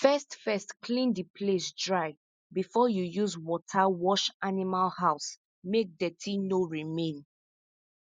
first first clean the place dry before you use water wash animal house make dirty no remain